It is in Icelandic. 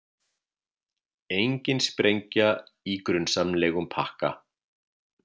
Engin sprengja í grunsamlegum pakka